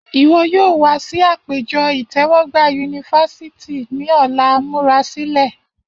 Iwọ yoo wa si apejọ itẹwọgba University ni ọla, murasilẹ!